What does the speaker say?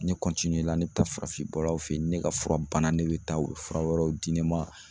Ne ne bɛ taa farafin bɔlaw fɛ yen ne ka fura bana ne bɛ taa u bɛ fura wɛrɛw di ne ma